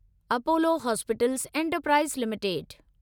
Apollo hospitals enterprise limited